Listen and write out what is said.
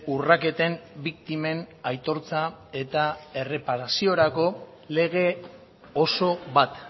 urraketen biktimen aitortza eta erreparaziorako lege oso bat